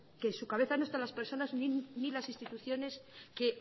que en su cabeza no están las personas ni las instituciones que